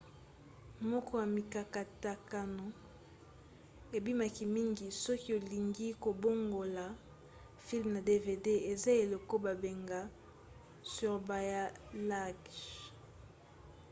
moko ya mikatakatano ebimaki mingi soki olingi kobongola filme na dvd eza eloko babengaka surbalayage